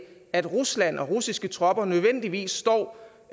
at rusland og russiske tropper nødvendigvis står